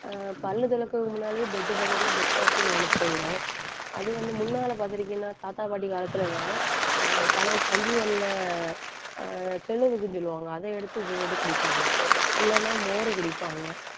ஆஹ் பல்லு துலக்குறதுக்கு முன்னாலயே bed பக்கத்துல bed coffee ன்னு ஒண்ணு போயிரும். அது வந்து முன்னால பாத்திருக்கீங்கன்னா தாத்தா பாட்டி காலத்துல எல்லாம் ஆஹ் பழைய கஞ்சிதண்ணில ஆஹ் சொல்லுவாங்க. அதை எடுத்து உப்பு போட்டு குடிப்பாங்க இல்லைன்னா மோர் குடிப்பாங்க.